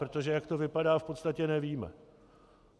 Protože jak to vypadá, v podstatě nevíme.